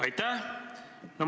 Aitäh!